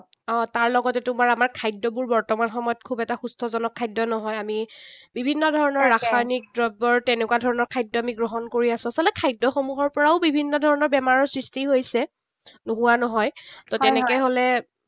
অঁহ, তাৰ লগতে তোমাৰ আমাৰ খাদ্যবোৰ বৰ্তমান সময়ত খুব এটা সুস্থজনক খাদ্য নহয়। আমি বিভিন্ন ধৰণৰ ৰাসায়নিক দ্ৰব্য তেনেকুৱা ধৰণৰ খাদ্য আমি গ্ৰহণ কৰি আছো। আচলতে খাদ্যসমূহৰ পৰাও বিভিন্ন ধৰণৰ বেমাৰৰ সৃষ্টি হৈছে। নোহোৱা নহয়। ত তেনেকে হলে